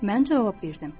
Mən cavab verdim.